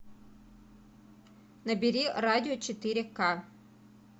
набери радио четыре ка